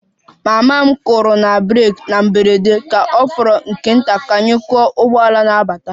Mama m kwụpụrụ na breeki na mberede ka ọ fọrọ nke nta ka anyị kụọ ụgbọala na-abata